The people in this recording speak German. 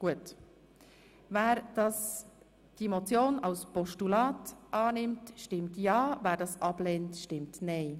Wer diesen Vorstoss als Postulat annimmt stimmt ja, wer das ablehnt stimmt nein.